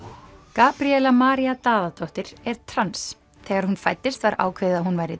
Gabríela María Daðadóttir er trans þegar hún fæddist var ákveðið að hún væri